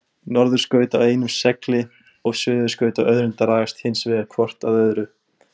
Norðurskaut á einum segli og suðurskaut á öðrum dragast hins vegar hvort að öðru.